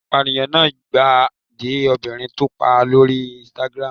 Apàyàn náà gbà de obìnrin tó pa lórí Instagram.